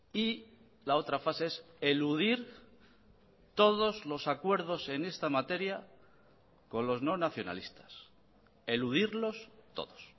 y la otra fase es eludir todos los acuerdos en esta materia con los no nacionalistas eludirlos todos